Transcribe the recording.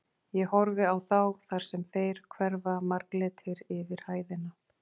Ég horfi á þá þar sem þeir hverfa marglitir yfir hæðina.